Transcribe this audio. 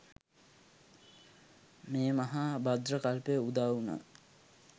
මේ මහා භද්‍ර කල්පය උදා වුණා.